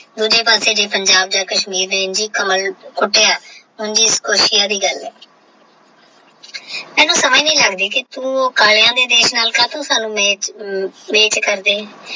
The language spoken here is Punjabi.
ਦੂਜੇ ਪਾਸੇ ਜੇ ਪਿੰਜਬ ਯਾ KASHMIR ਦੇ ਕਮਲ ਕੁਰਸੀਆਂ ਦੀ ਗੱਲ ਹੈ ਮੈਨੂੰ ਸਮਝ ਨਹੀਂ ਲੱਗਦੀ ਤੋਂ ਉਹ ਦੇ ਦੇਸ਼ ਅੰਲ ਆਸਣੁ ਕਾਤੋ ਮੇਚ ਮੇਚ ਕਰਦੀ ਹੈ।